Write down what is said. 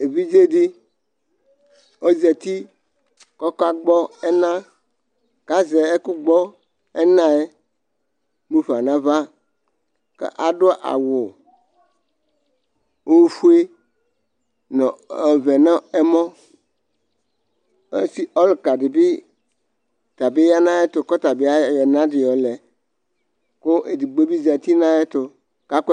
evidze di ɔzɛti kʋ ɔka gbɔ ɛna kazɛ ɛkʋ gbɔ ɛna ɛɛ mʋfa naɣa ka du awu ofuɛ nɔ ɔvɛ nɛmɔ ɔsi ɔlʋka dibi yanu ayɛtɛ kʋ ɔtabi ayɔ ɛna di yɔlɛ kʋ edigbo bi zɛti nʋ ayɛtu kʋ akɔ ɛkɔ